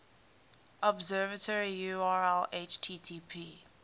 observatory url http